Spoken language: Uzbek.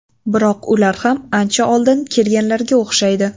Biroq ular ham ancha oldin kelganlarga o‘xshaydi.